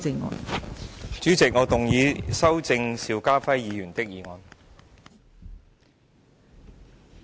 代理主席，我動議修正邵家輝議員的議案。